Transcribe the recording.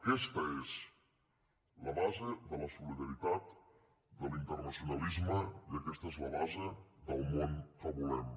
aquesta és la base de la solidaritat de l’internacionalisme i aquesta és la base del món que volem